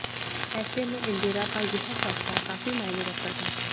ऐसे में इंदिरा का यह फैसला काफी मायने रखता था